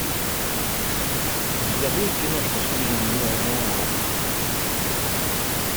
у тебя будет киношка в стиле неонуара